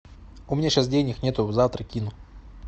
у меня сейчас денег нет завтра кину